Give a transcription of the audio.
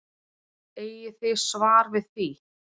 Eigið þið svar við því?